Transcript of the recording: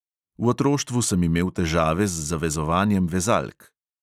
V otroštvu sem imel težave z zavezovanjem vezalk.